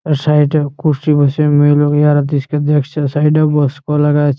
এর সাইড - এ কুরসি বসিয়ে মেয়ে লোগ এহারার দৃশকে দেখছে। সাইড - এ বস কলা গাছ --